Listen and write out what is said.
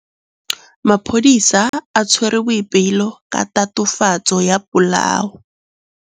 Maphodisa a tshwere Boipelo ka tatofatsô ya polaô.